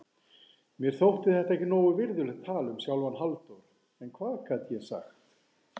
Mér þótti þetta ekki nógu virðulegt tal um sjálfan Halldór, en hvað gat ég sagt?